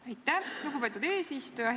Aitäh, lugupeetud eesistuja!